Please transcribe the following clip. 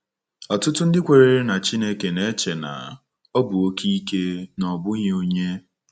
Ọtụtụ ndị kwenyere na Chineke na-eche na na ọ bụ oke ike, na ọ bụghị onye.